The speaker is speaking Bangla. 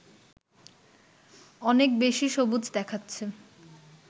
অনেক বেশি সবুজ দেখাচ্ছে